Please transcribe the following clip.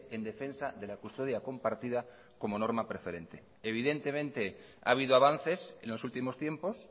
en defensa de la custodia compartida como norma preferente evidentemente ha habido avances en los últimos tiempos